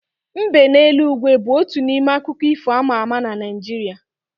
Mbe n'eluigwe bu otu n'ime akụkọ ifo ama ama na Naijiria